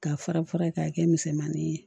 K'a fara fara ye k'a kɛ misɛmanin ye